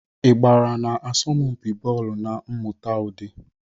Ị gbara n'asọmpi bọọlụ na mmụta ụdị?